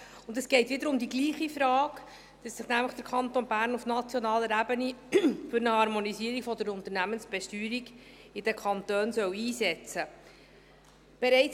Und es geht wieder um die gleiche Frage: dass sich nämlich der Kanton Bern auf nationaler Ebene für eine Harmonisierung der Unternehmensbesteuerung in den Kantonen einsetzen soll.